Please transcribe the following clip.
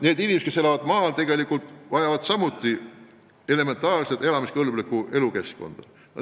Need inimesed, kes elavad maal, tegelikult vajavad samuti elementaarset elamiskõlblikku elukeskkonda.